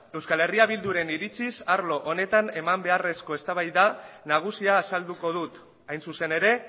eh bilduren iritziz arlo honetan eman beharreko eztabaida nagusia azalduko dut hain zuzen ere